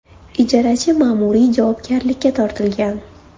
Ijarachi ma’muriy javobgarlikka tortilgan.